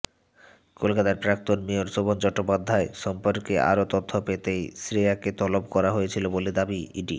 কলকাতার প্রাক্তন মেয়র শোভন চট্টোপাধ্যায় সম্পর্কে আরও তথ্য পেতেই শ্রেয়াকে তলব করা হয়েছিল বলে ইডি